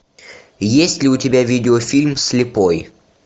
есть ли у тебя видеофильм слепой